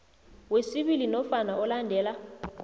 wesibili nofana olandela